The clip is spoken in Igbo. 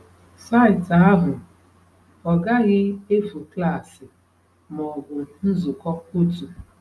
Site ahụ, ọ gaghị efu klaasị ma ọ bụ nzukọ otu.